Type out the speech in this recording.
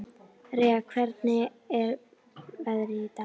Rea, hvernig er veðrið í dag?